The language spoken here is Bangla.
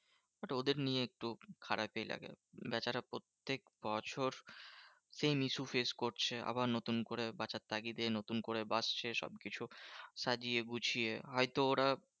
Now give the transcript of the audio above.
But ওদের নিয়ে একটু খারাপই লাগে। বেচারা প্রত্যেক বছর same issue face করছে। আবার নতুন করে বাঁচার তাগিদে নতুন করে বাঁচছে। সবকিছু সাজিয়ে গুছিয়ে হয়তো ওরা